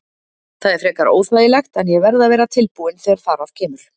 Það er frekar óþægilegt en ég verð að vera tilbúinn þegar þar að kemur.